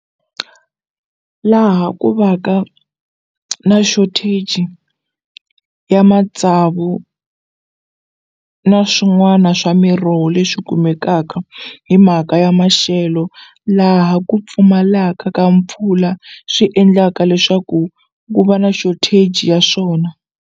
Laha ku va ka na shortage ya matsavu na swin'wana swa miroho leswi kumekaka hi mhaka ya mashelo laha ku pfumalaka ka mpfula swi endlaka leswaku ku va na shortage ya swona.